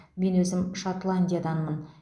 мен өзім шотландияданмын